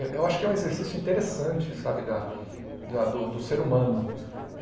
Eu acho que é um exercício interessante, sabe, da da do ser humano.